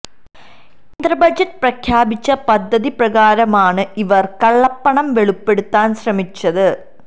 കേന്ദ്ര ബജറ്റിൽ പ്രഖ്യാപിച്ച പദ്ധതി പ്രകാരമാണ് ഇവർ കള്ളപ്പണം വെളിപ്പെടുത്താൻ ശ്രമിച്ചത്